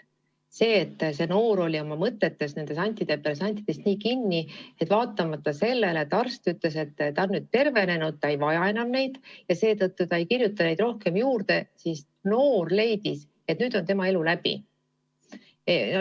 See noor inimene oli oma mõtetes nendes antidepressantides nii kinni, et vaatamata sellele, et arst ütles, et ta on nüüd tervenenud ja ei vaja neid enam ja seetõttu ta neid rohkem juurde ei kirjuta, leidis noor, et nüüd on tema elu läbi.